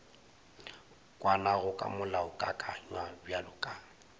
kwanago ka molaokakanywa bjalo ka